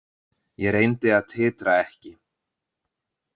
Ég reyndi að titra ekki.